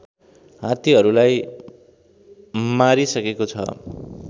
हात्तीहरूलाई मारिसकेको छ